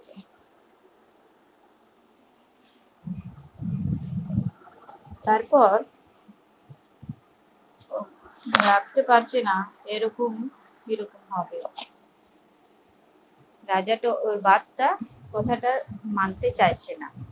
তারপর ভাবতে ভাবতে রাজাটা ওর কথাটা মানতে চাইছেনা